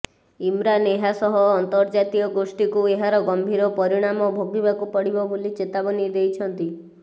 ଇମରାନ ଏହା ସହ ଆନ୍ତର୍ଜାତୀୟ ଗୋଷ୍ଠୀକୁ ଏହାର ଗମ୍ଭୀର ପରିଣାମ ଭୋଗିବାକୁ ପଡ଼ିବ ବୋଲି ଚେତାବନୀ ଦେଇଛନ୍ତି